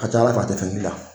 ka c'Ala fɛ a tɛ fɛn k'i la.